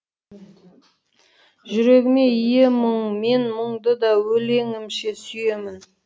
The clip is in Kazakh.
жүрегіме ие мұң мен мұңды да өлеңімше сүйемін